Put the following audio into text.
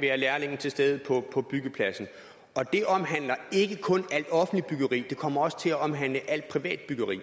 være lærlinge til stede på byggepladsen det omhandler ikke kun alt offentligt byggeri det kommer også til at omhandle alt privat byggeri